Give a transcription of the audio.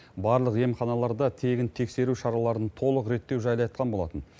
барлық емханаларда тегін тексеру шараларын толық реттеу жайлы айтқан болатын